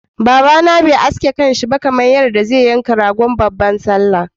Baba na bai iya ake kansa ba kamar yadda zai yanka ragon babban sallah.